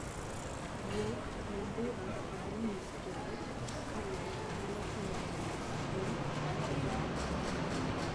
Guok, nyambura, kod winj joot ka ler nyalo konyo e duoko chien kute e kar dak.